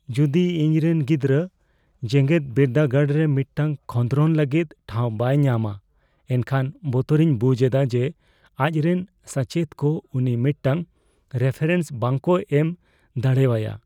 ᱡᱚᱫᱤ ᱤᱧᱨᱮᱱ ᱜᱤᱫᱽᱨᱟᱹ ᱡᱮᱜᱮᱫᱵᱤᱨᱫᱟᱹᱜᱟᱲ ᱨᱮ ᱢᱤᱫᱴᱟᱝ ᱠᱷᱚᱸᱫᱽᱨᱚᱱ ᱞᱟᱹᱜᱤᱫ ᱴᱷᱟᱶ ᱵᱟᱭ ᱧᱟᱢᱼᱟ, ᱮᱱᱠᱷᱟᱱ ᱵᱚᱛᱚᱨᱤᱧ ᱵᱩᱡᱷ ᱮᱫᱟ ᱡᱮ ᱟᱡᱨᱮᱱ ᱥᱟᱪᱮᱫ ᱠᱚ ᱩᱱᱤ ᱢᱤᱫᱴᱟᱝ ᱨᱮᱯᱷᱟᱨᱮᱱᱥ ᱵᱟᱝᱠᱚ ᱮᱢ ᱫᱟᱲᱣᱟᱭᱟ ᱾